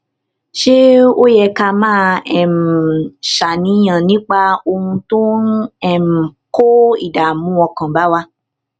ṣé ó ó yẹ ká máa um ṣàníyàn nípa ohun tó ń um kó ìdààmú ọkàn bá wa